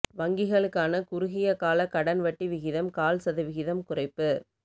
வங்கிகளுக்கான குறுகிய கால கடன் வட்டி விகிதம் கால் சதவீதம் குறைப்பு